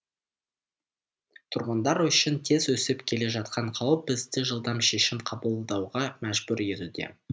тұрғындар үшін тез өсіп келе жатқан қауіп бізді жылдам шешім қабылдауға мәжбүр етуде